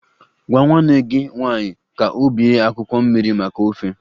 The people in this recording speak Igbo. Gwa nwanne gị nwanyị ka ọ bee akwụkwọ mmiri maka ofe